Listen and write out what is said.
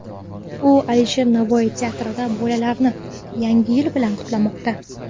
U Alisher Navoiy teatrida bolalarni Yangi yil bilan qutlamoqda.